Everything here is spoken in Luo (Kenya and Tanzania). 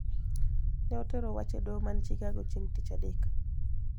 Ne otero wach e doho man Chicago chieng ' Tich Adek.